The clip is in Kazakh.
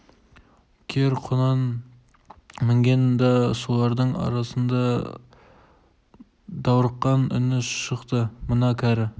кер құнан мінген да солардың арасында даурыққан үні шықты мына кәрі